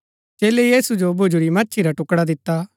चेलै यीशु जो भुज्‍जुरी मच्छी रा टुकड़ा दिता